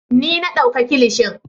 Ni na dauka kilishin.